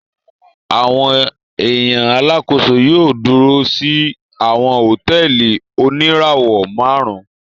Awọn ẹya Alàkóso yóò dúrò si awọn hotẹẹli onirawọ márùn